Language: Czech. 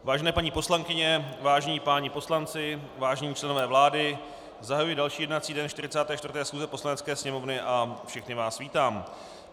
Vážené paní poslankyně, vážení páni poslanci, vážení členové vlády, zahajuji další jednací den 44. schůze Poslanecké sněmovny a všechny vás vítám.